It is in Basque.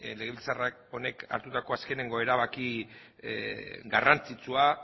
legebiltzar honek hartutako azken erabaki garrantzitsua